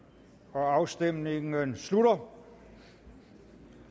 afstemningen slutter